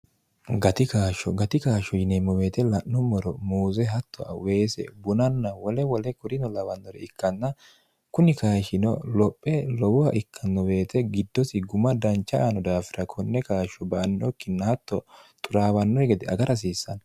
gatikaashsho gati kaashsho yineemmo beete la'nummoro muuse hatto aweese bunanna wole wole kurino lawannore ikkanna kunni kayishino lophe lowoha ikkanno beete giddosi guma dancha aano daafira konne kaashsho ba annokkinna hatto xuraawannore gede agar hasiissanno